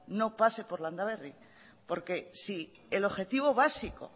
no pase por landaberri porque si el objetivo básico